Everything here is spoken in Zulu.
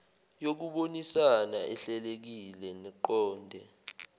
yokubonisana ehlelekile neqonde